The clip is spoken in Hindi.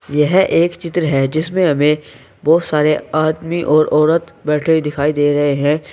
यह एक चित्र है जिसमें हमें बहोत सारे आदमी और औरत बैठे हुए दिखाई दे रहे हैं।